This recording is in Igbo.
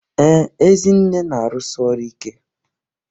Ee, Ezinne na-arụsi ọrụ ike